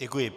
Děkuji.